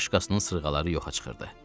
bir başqasının sırğaları yoxa çıxırdı.